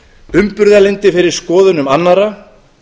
umburðarlyndi fyrir skoðunum annarra